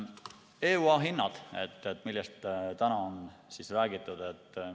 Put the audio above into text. EUA hinnad, millest täna on räägitud.